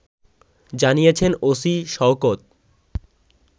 জানিয়েছেন ওসি শওকত